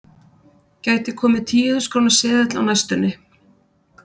Gæti komið tíu þúsund króna seðill á næstunni?